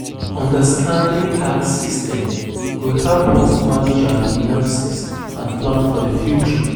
Understanding tax systems go help us manage our finances and plan for the future.